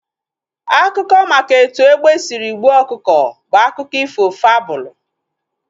Akụkọ maka etu egbe sịrị gbuo ọkụkọ bụ akụkọ ifo fabụlu